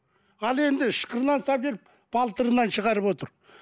ал енді ышқырынан салып жіберіп балтырынан шығарып отыр